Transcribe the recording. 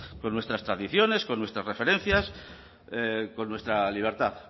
con nuestras tradiciones con nuestras referencias con nuestra libertad